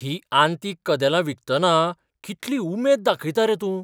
हीं आंतीक कदेलां विकतना कितली उमेद दाखयता रे तूं!